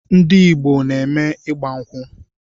Ndị Igbo na-eme ịgba nkwu